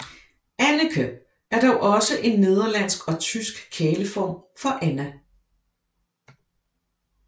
Anneke er dog også en nederlandsk og tysk kæleform for Anna